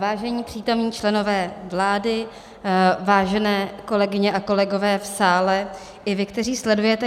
Vážení přítomní členové vlády, vážené kolegyně a kolegové v sále i vy, kteří sledujete.